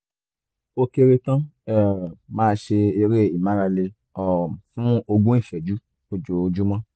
ó kéré tán um máa ṣe eré ìmárale um fún ogún ìṣẹ́jú lójoojúmọ́